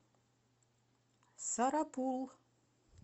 сарапул